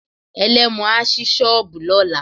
Ẹlẹ́mu á sí shọ́ọ̀bù lọ́la.